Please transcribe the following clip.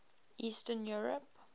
eastern europe